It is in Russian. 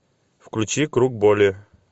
включи круг боли